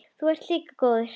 Þú ert líka góður.